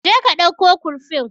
Je ka ɗauko kurfin